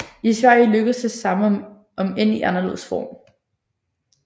I Sverige lykkedes det samme om end i anderledes form